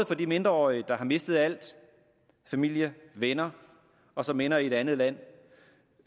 for de mindreårige der har mistet alt familie venner og som ender i et andet land